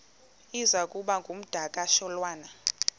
iza kuba ngumdakasholwana